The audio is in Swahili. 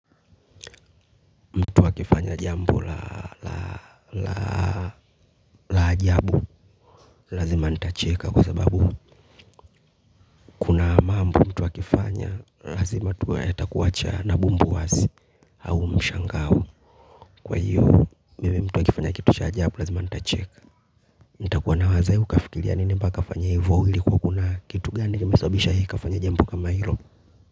Mtu akifanya jambo la la ajabu lazima nitacheka kwa sababu kuna mambo mtu akifanya lazima tu atakuacha na bumbu wazi au mshangao kwa hiyo mimi mtu akifanya kitu cha ajabu lazima nitacheka nitakuwa na waza huyu kafikiria nini mpaka afanye ivo ili kuwa kuna kitu gani kimesababisha hii kafanya jambo kama hilo.